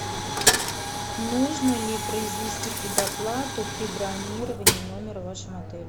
нужно ли произвести предоплату при бронировании номера в вашем отеле